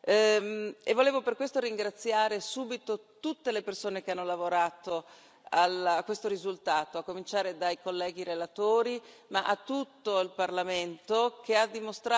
e volevo per questo ringraziare subito tutte le persone che hanno lavorato a questo risultato, a cominciare dai colleghi relatori, ma anche tutto il Parlamento che ha dimostrato